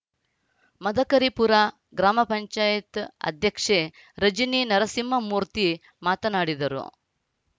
ಮದಕರಿಪುರ ಗ್ರಾಮ ಪಂಚಾಯತ್ ಅಧ್ಯಕ್ಷೆ ರಜನಿ ನರಸಿಂಹಮೂರ್ತಿ ಮಾತನಾಡಿದರು